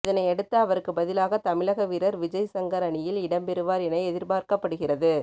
இதனையடுத்து அவருக்கு பதிலாக தமிழக வீரர் விஜய்சங்கர் அணியில் இடம்பெறுவார் என எதிர்பார்க்கப்படுகிறது